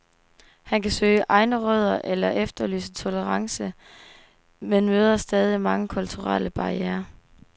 Han kan søge egne rødder eller efterlyse tolerance, men møder stadig mange kulturelle barrierer.